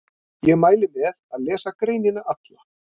Ég mæli með að lesa greinina alla.